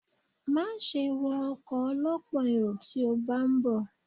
Máa ṣe wọ ọkọ̀ ọ lọ́pọ̀ èrò tí o bá ń bọ̀.